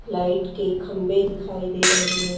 Light के खंबे दिखाई दे रहे है।